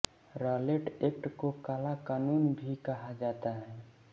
Rowlatt Act को काला कानून भी कहा जाता है